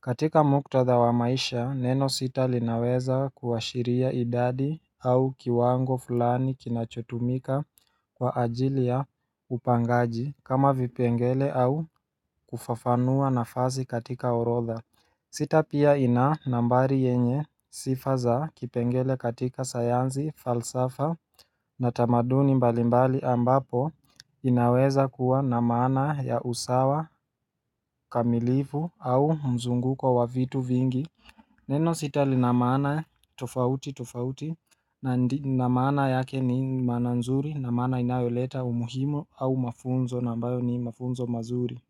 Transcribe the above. katika muktadha wa maisha, neno sita linaweza kuwashiria idadi au kiwango fulani kinachotumika kwa ajili ya upangaji kama vipengele au kufafanua na fasi katika orodha. Sita pia ina nambari yenye sifaza kipengele katika sayansi falsafa na tamaduni mbalimbali ambapo inaweza kuwa namaana ya usawa kamilifu au mzunguko wa vitu vingi Neno sita linamaana tofauti tofauti na namaana yake ni maananzuri namaana inayoleta umuhimu au mafunzo na ambayo ni mafunzo mazuri.